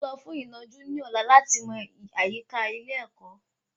À ń lọ fún ìnàjú ní ọ̀la láti mọ àyíká ilé ẹ̀kọ́